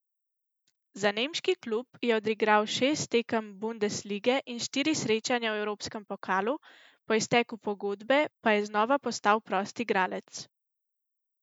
Za nemški klub je odigral šest tekem bundeslige in štiri srečanja v evropskem pokalu, po izteku pogodbe pa je znova postal prost igralec.